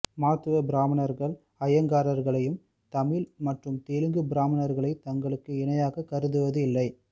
மாத்துவா பிராமணர்கள் ஐயங்கார்களையும் தமிழ் மற்றும் தெலுங்கு பிராமணர்களை தங்களுக்கு இணையாக கருதுவதில்லை